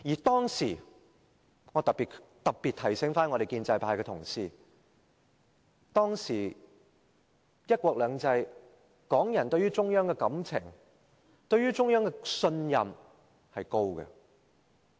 當時——特別提醒建制派的同事——在"一國兩制"之下，港人對中央的感情和信任是高的。